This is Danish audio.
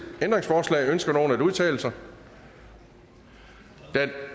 ændringsforslag ønsker nogen at udtale sig da